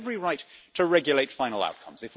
They have every right to regulate final outcomes.